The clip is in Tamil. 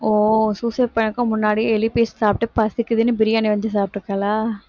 ஓ suicide பண்ணறத்துக்கு முன்னாடியே எலி paste சாப்பிட்டு பசிக்குதுன்னு பிரியாணி வாங்கி சாப்பிட்டிருக்காளா